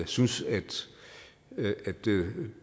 synes at